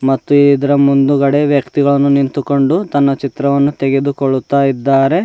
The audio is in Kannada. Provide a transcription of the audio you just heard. ಮತ್ತೆ ಇದರ ಮುಂದುಗಡೆ ವ್ಯಕ್ತಿಗಳನ್ನು ನಿಂತುಕೊಂಡು ತಮ್ಮ ಚಿತ್ರಗಳನ್ನು ತೆಗೆದು ಕೊಳ್ಳುತ್ತ ಇದ್ದಾರೆ.